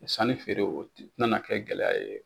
Sanni feere o tɛnana kɛ gɛlɛya ye